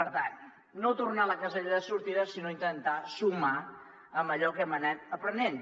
per tant no tornar a la casella de sortida sinó intentar sumar amb allò que hem anat aprenent